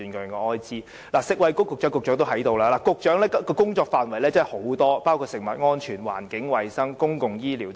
現時食物及衞生局局長也在席，局長的工作範圍很大，包括食物安全、環境衞生和公共醫療等。